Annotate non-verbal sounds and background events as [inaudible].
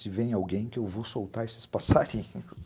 Se vem alguém que eu vou soltar esses passarinhos [laughs]